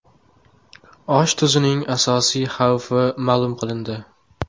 Osh tuzning asosiy xavfi ma’lum qilindi.